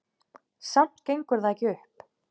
Samt gengur það ekki upp.